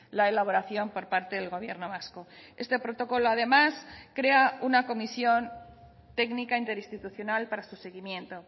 la elaboración por parte del gobierno vasco este protocolo además crea una comisión técnica interinstitucional para su seguimiento